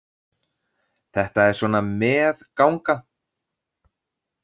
Þetta er svona með- ganga.